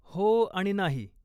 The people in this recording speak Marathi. हो आणि नाही!